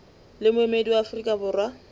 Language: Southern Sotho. le moemedi wa afrika borwa